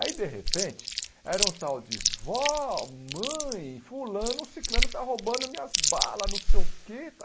Aí, de repente, era um tal de vó, mãe, fulano, ciclano, está roubando minhas balas, não sei o quê.